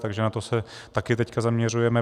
Takže na to se teď také zaměřujeme.